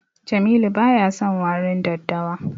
Jamilu baya son warin daddawa.